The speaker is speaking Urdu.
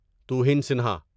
توہین سنہا